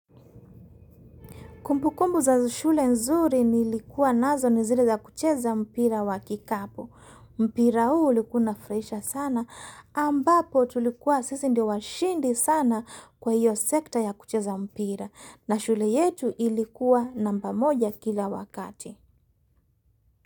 Kumbukumbu za shule nzuri nilikuwa nazo ni zile za kucheza mpira wa kikapu. Mpira huu ulikua unafuraisha sana ambapo tulikuwa sisi ndio washindi sana kwa hiyo sekta ya kucheza mpira. Na shule yetu ilikuwa namba moja kila wakati.